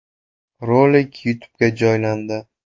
Rolik YouTube’ga joylandi .